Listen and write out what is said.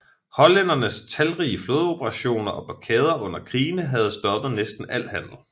Hollændernes talrige flådeoperationer og blokade under krigene havde stoppet næsten al handel